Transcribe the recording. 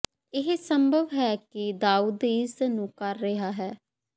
ਇਹ ਸੰਭਵ ਹੈ ਕਿ ਦਾਊਦ ਇਸ ਨੂੰ ਕਰ ਰਿਹਾ ਹੈ